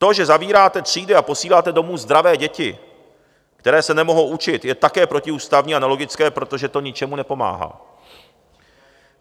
To, že zavíráte třídy a posíláte domů zdravé děti, které se nemohou učit, je také protiústavní a nelogické, protože to ničemu nepomáhá.